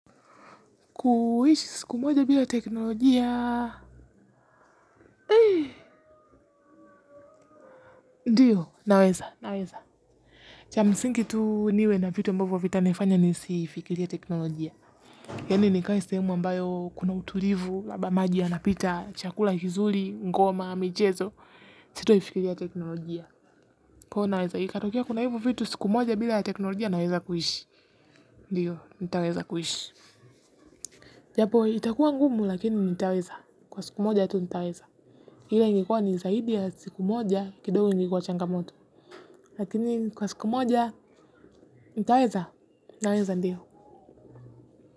Kuishi siku moja bila teknolojia. Ndiyo, naweza, naweza. Chamsingi tu niwe na vitu ambavyo vita nifanya nisifikirie teknolojia yani nikae sehemu ambayo kuna utulivu labda maji yanapita chakula kizuri ngoma michezo. Sito ifikiria teknolojia. Kwa hiyo naweza, ikatokea kuna hivo vitu siku moja bila ya teknolojia naweza kuishi. Ndiyo, nitaweza kuishi. Japo, itakuwa ngumu lakini nitaweza. Kwa siku moja tu nitaweza ila ingekuwa ni zaidi ya siku moja kidogo ingekuwa changamoto. Lakini kwa siku moja nitaweza naweza ndio.